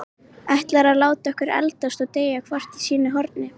Ætlarðu að láta okkur eldast og deyja hvort í sínu horni?